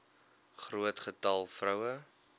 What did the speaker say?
groot getal vroue